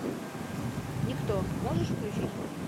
никто можешь включить